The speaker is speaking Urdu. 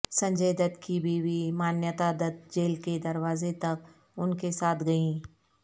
سنجے دت کی بیوی مانیتا دت جیل کے دروازے تک ان کے ساتھ گئیں